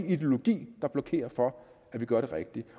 ideologi der blokerer for at vi gør det rigtige